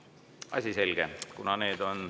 Asi selge.